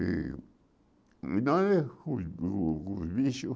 E nós, os os os bichos